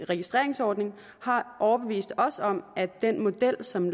registreringsordning har overbevist os om at den model som